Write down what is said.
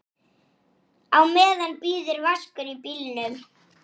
Þetta er fyrsti kostur.